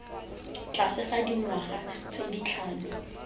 tlase ga dingwaga tse tlhano